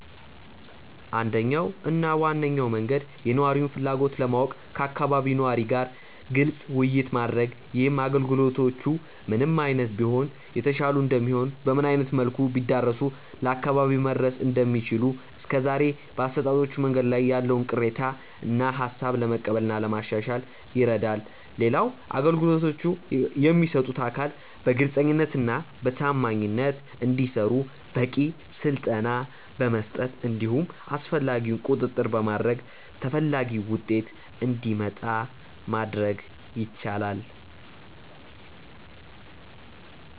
አንደኛው እና ዋነኛው መንገድ የነዋሪውን ፍላጎት ለማወቅ ከአካባቢው ነዋሪ ጋር ግልጽ ውይይት ማድረግ ነው። ይህም አገልግሎቶቹ ምን አይነት ቢሆኑ የተሻሉ እንደሚሆኑ፤ በምን አይነት መልኩ ቢዳረሱ ለአካባቢው መድረስ እንደሚችሉ፤ እስከዛሬ በአሰጣጦቹ መንገዶች ላይ ያለውን ቅሬታ እና ሃሳብ ለመቀበል እና ለማሻሻል ይረዳል። ሌላው አገልግሎቶቹን የሚሰጡት አካል በግልጸኝነት እና በታማኝነት እንዲሰሩ በቂ ስልጠና በመስጠት እንዲሁም አስፈላጊውን ቁጥጥር በማድረግ ተፈላጊው ውጤት እንዲመጣ ማድረግ ይቻላል።